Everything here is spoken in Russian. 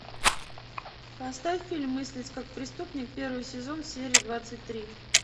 поставь фильм мыслить как преступник первый сезон серия двадцать три